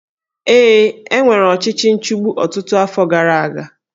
Ee, e nwere ọchịchị nchigbu ọtụtụ afọ gara aga